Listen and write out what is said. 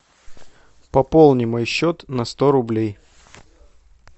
пополни мой счет на сто рублей